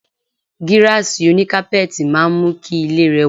Gíráàsì oní kápẹ́ẹ̀tì máa ń mú kí ilé rẹwà.